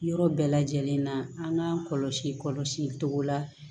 Yɔrɔ bɛɛ lajɛlen na an k'an kɔlɔsi kɔlɔsi cogo la